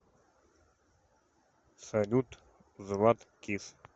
салют златкис